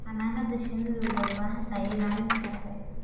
Xannaanada shinnidu waxay u baahan tahay ilaalin sharci.